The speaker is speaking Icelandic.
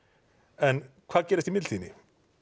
en hvað gerist í millitíðinni